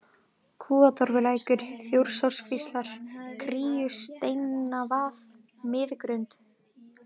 Kúatorfulækur, Þjórsárkvíslar, Kríusteinavað, Miðgrund